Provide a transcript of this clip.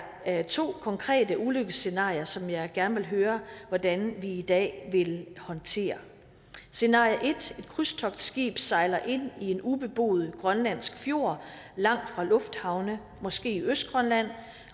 jeg to konkrete ulykkesscenarier som jeg gerne vil høre hvordan vi i dag vil håndtere scenarie 1 et krydstogtskib sejler ind i en ubeboet grønlandsk fjord langt fra lufthavne måske i østgrønland